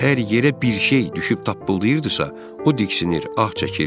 Əgər yerə bir şey düşüb tapqılırdısa, o diksinir, ah çəkirdi.